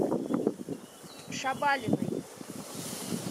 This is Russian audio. шабалиной